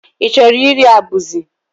I chọrọ iri abụzị?